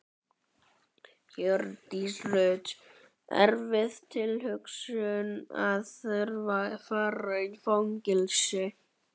Hjördís Rut: Erfið tilhugsun að þurfa að fara í fangelsi?